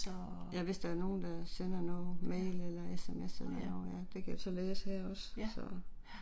Ja hvis der er nogen der sender noget, mail eller SMS eller noget ja, det kan jeg så læse her også, så